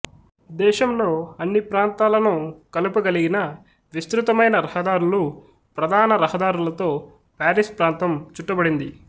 దేశంలో అన్ని ప్రాంతాలను కలుపగలిగిన విస్తృతమైన రహదారులు ప్రధాన రహదారులతో పారిస్ ప్రాంతం చుట్టబడింది